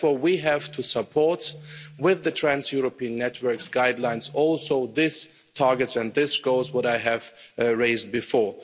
Therefore we have to support, with the Trans European Networks guidelines, also these targets and these goals that I mentioned before.